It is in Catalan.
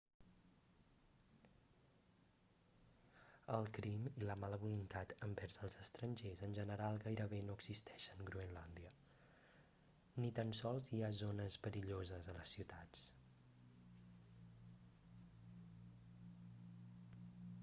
el crim i la mala voluntat envers els estrangers en general gairebé no existeixen groenlàndia ni tan sols hi ha zones perilloses a les ciutats